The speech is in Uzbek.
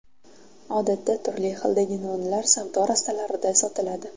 Odatda turli xildagi nonlar savdo rastalarida sotiladi.